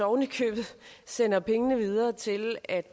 oven i købet sender pengene videre til at